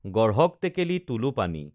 গঢ়ক টেকেলি তোলো পানী